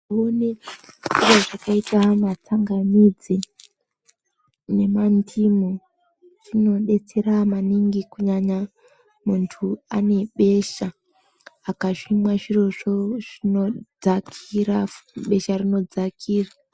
Kuone zviro zvakaita setsangamidzi nemandimu zvinodetsera maningi kunyanya muntu unebesha zvinodetsera kana muntu akazvimwa zvirozvo zvinodzakira, besha rinodzakira.